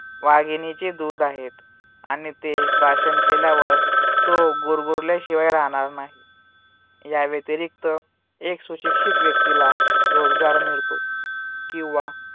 वाघिणीचे दूध आहेत. आणि ते प्राशन केल्यावर तो गुरगुरल्याशिवाय राहणार नाही. याव्यतिरिक्त एक सुशिक्षित व्यक्तीला रोजगार मिळतो किंवा